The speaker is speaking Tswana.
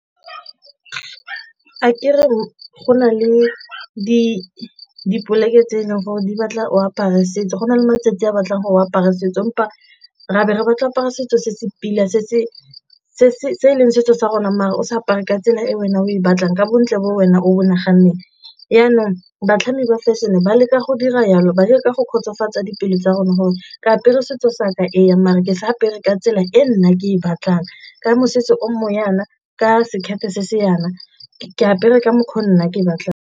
A ke re go na le dipoleke tse e leng gore di batla o apare setso go na le matsatsi a batlang gore o apare setso empa ra be re batla apara setso se se pila se se se leng setso sa rona o sa apare ka tsela e wena o e batlang ka bontle bo wena o bo naganneng. Jaanong batlhami ba fashion-e ba leka go dira jalo ba dira ka go kgotsofatsa dipelo tsa rona gore ke apere setso sa ka eng mare ke sa apere ka tsela e nna ke e batlang, ka mosese o mo jaana, ka sekete se se jaana, ke apere ka mokgwa o nna ke batlang.